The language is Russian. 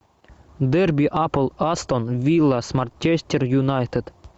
дерби апл астон вилла с манчестер юнайтед